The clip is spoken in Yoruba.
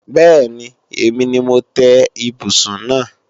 Bẹ́ẹ̀ni, èmi ni mo tẹ́ ibùsùn náà